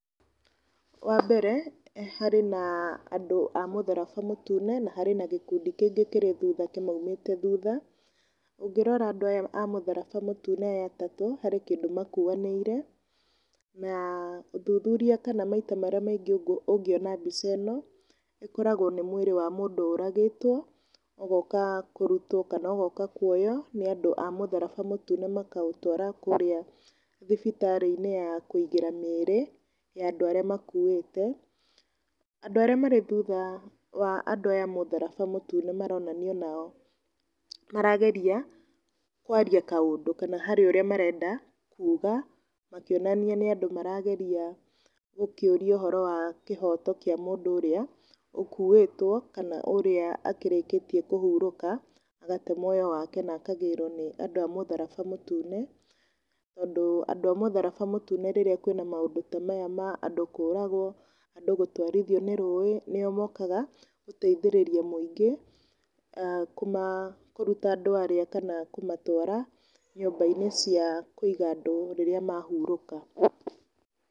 Wa mbere harĩ na andũ a mũtharaba mũtune na harĩ na gĩkundi kĩngĩ kĩrĩ thutha kĩmaumĩte thutha. Ũngĩrora andũ aya a mũtharaba mũtune aya atatũ, harĩ kĩndũ makuanĩire na ũthuthuria maita marĩa maingĩ ũngĩona mbica ĩno, ũkoragwo nĩ mwĩrĩ wa mũndũ ũragĩtwo ũgoka kũrutwo kana ũgoka kuoywo nĩ andũ a mũtharaba mũtune makaũtwara kũrĩa thibitarĩ-inĩ ya kũigĩra mĩrĩ ya andũ arĩa makuĩte. Andũ arĩa marĩ thutha wa andũ aya a mũtharaba mũtune maronania onao marageria kwaria kaũndũ kana harĩ ũrĩa marenda kuga, makĩonania nĩ andũ marageria gũkĩũria ũhoro wa kĩhoto kĩa mũndũ ũrĩa ũkuĩtwo kana ũrĩa ũkĩrĩkitie kũhurũka agate muoyo wake na akagĩrwo nĩ andũ a mũtharaba mũtune. Tondũ andũ a mũtharaba mũtune hĩndĩ ĩrĩa kwĩna maũndũ ta maya ma andũ kũragwo andũ gũtwarithio nĩ rũĩ nĩo mokaga gũteithĩrĩria mũingĩ, kũruta andũ arĩa kana kũmatwara nyũmba-inĩ cia kũiga andũ rĩrĩa mahurũka.